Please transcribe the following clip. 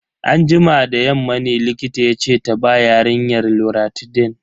Anjima da yamma ne likita yace ta ba yarinyar loratidine.